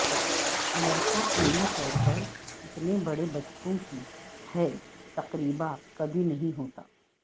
اگرچہ عملی طور پر اتنے بڑے بچوں کی ہے تقریبا کبھی نہیں ہوتا